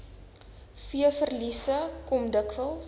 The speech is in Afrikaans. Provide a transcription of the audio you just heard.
veeverliese kom dikwels